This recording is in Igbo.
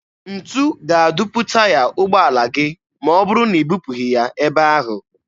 Ntu ga-adupu taya ụgbọala gị ma ọ bụrụ na i bupụghị ya ebe ahụ.